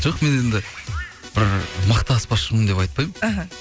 жоқ мен енді бір мықты аспазшымын деп айтпаймын іхі